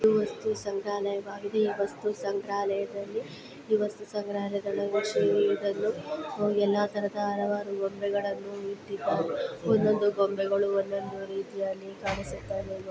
ಇದು ವಸ್ತು ಸಂಗ್ರಯಲಾಯವಾಗಿದ ಈ ವಸ್ತು ಸಂಗ್ರಯಲಾಯದಲ್ಲಿ ಈ ವಸ್ತು ಸಂಗ್ರಯಲಾಯದ ವಿಷಯವೇ ಇದನ್ನು ಎಲ್ಲಾ ತರಹದ ಅಲವಾರು ಗೊಂಬೆಗಳನ್ನು ಇಟ್ಟಿದ್ದಾರೆ. ಒಂದೊಂದು ಗೊಂಬೆಯು ಒಂದೊಂದು ರೀತಿಯಲ್ಲಿ ಕಾಣಿಸುತ್ತಾಯಿದೆ.